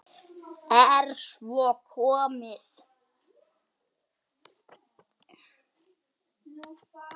Er svo komið?